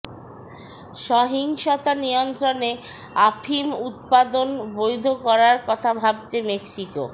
সহিংসতা নিয়ন্ত্রণে আফিম উৎপাদন বৈধ করার কথা ভাবছে মেক্সিকো